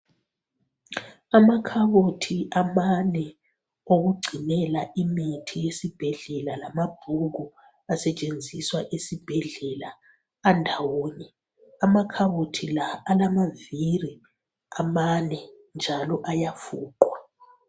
Amakhabothi amane okugcinela imithi esibhedlela lamabhuku asetshenziswa esibhedlela andawonye amakhabothi la alamaviri amane njalo ayafuqwa.